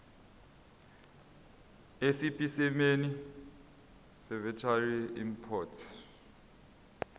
esipesimeni seveterinary import